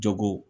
Jogo